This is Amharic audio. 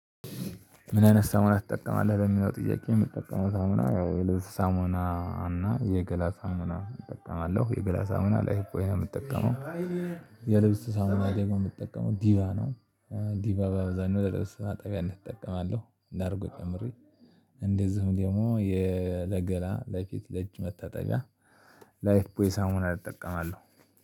ምን አይነት ሳሙና ትጠቀማለህ ለሚለው ጥያቄ? የምጠቀመው ሳሙና ያው የልብስ ሳሙና እና የገላ ሳሙና እጠቀማለሁ የገላ ሳሙና ላይ ላይፍቦይ ነው የምጠቀመው። የልብስ ሳሙና ደሞ ምጠቀመው ዲቫ ነው። ዲቫ በአብዛኛው ለ ልብስ ማጠቢያነት እጠቀማለሁ ላርጎ ጨምሬ። እንደዚሁም ደግሞ የ ለገላ ለፊት ለእጅ መታጠቢያ ላይፍ ቦይ ሳሙና እጠቀማለሁ